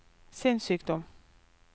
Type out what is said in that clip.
sinnssykdom